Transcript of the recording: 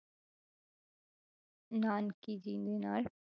ਨਾਨਕੀ ਜੀ ਦੇ ਨਾਲ,